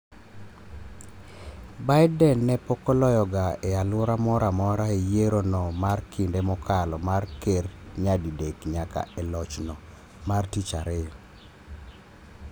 Biden, ne pokoloyo ga e alwora moro amora e yiero no mar kinde mokalo mar ker nyadi dek nyaka e loch no mar tich ariyo.